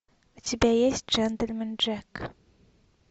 у тебя есть джентльмен джек